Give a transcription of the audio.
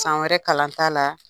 San wɛrɛ kalanta la.